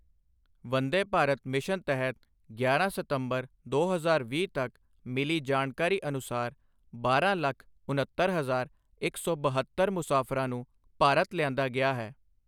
Vande Bharat mission ਤਹਿਤ ਗਿਆਰਾਂ ਸਤੰਬਰ ਦੋ ਹਜ਼ਾਰ ਵੀਹ ਤੱਕ ਮਿਲੀ ਜਾਣਕਾਰੀ ਅਨੁਸਾਰ ਬਾਰਾਂ ਲੱਖ ਉਨੱਤਰ ਹਜਾਰ ਇੱਕ ਸੌ ਬਹੱਤਰ ਮੁ਼ਸਾਫਰਾਂ ਨੂੰ ਭਾਰਤ ਲਿਆਂਦਾ ਗਿਆ ਹੈ।